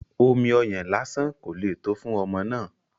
Omi ọyàn lásán kò le tó fún ọmọ náà